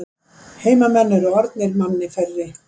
Heimamenn eru orðnir manni færri